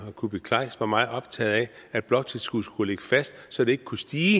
kuupik kleist var meget optaget af at bloktilskuddet skulle ligge fast så det ikke kunne stige